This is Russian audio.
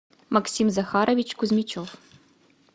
максим захарович кузьмичев